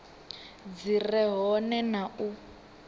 dzi re hone na u